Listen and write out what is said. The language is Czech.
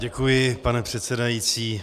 Děkuji, pane předsedající.